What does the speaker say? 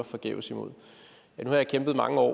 forgæves imod nu har jeg kæmpet mange år